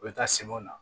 U bɛ taa sɛw na